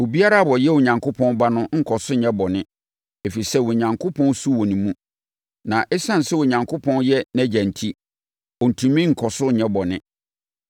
Obiara a ɔyɛ Onyankopɔn Ba no nkɔ so nyɛ bɔne, ɛfiri sɛ Onyankopɔn su wɔ ne mu, na ɛsiane sɛ Onyankopɔn yɛ nʼAgya enti, ɔntumi nkɔ so nyɛ bɔne.